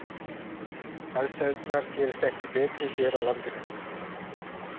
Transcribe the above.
Aðstæðurnar gerast ekki betri hér á landinu.